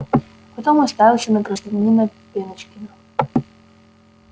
потом уставился на гражданина пеночкина